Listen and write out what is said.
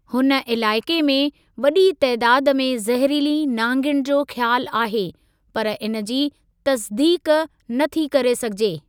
हुन इलाइक़े में वॾी तइदाद में ज़हरीली नांगिन जो ख़्यालु आहे, पर इन जी तसिदीक़ न थी करे सघिजे।